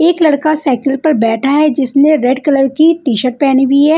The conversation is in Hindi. एक लड़का साइकिल पर बैठा है जिसने रेड कलर की टीशर्ट पहनी हुई है।